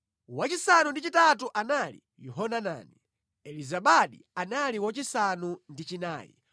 wachisanu ndi chitatu anali Yohanani, Elizabadi anali wachisanu ndi chinayi,